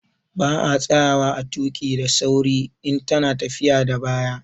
Ba a tsayawa a tuƙi daa sauri in ta na tafiya da baya